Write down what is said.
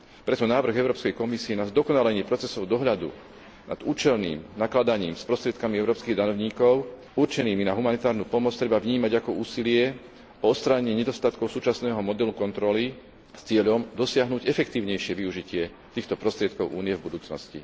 Preto návrh Európskej komisie na zdokonalenie procesov dohľadu nad účelným nakladaním s prostriedkami európskych daňovníkov určenými na humanitárnu pomoc treba vnímať ako úsilie o odstránenie nedostatkov súčasného modelu kontroly s cieľom dosiahnuť efektívnejšie využitie týchto prostriedkov Únie v budúcnosti.